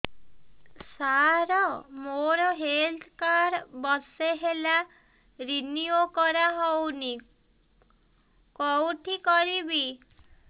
ସାର ମୋର health card ବର୍ଷେ ହେଲା ରିନିଓ କରା ହଉନି କଉଠି କରିବି